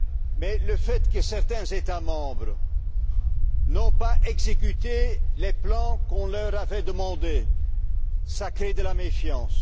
Mais le fait que certains États membres n'aient pas exécuté les plans qu'on leur avait demandés crée de la méfiance.